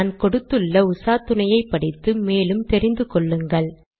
நான் கொடுத்துள்ள உசாத்துணையை படித்து மேலும் தெரிந்து கொள்ளுங்கள்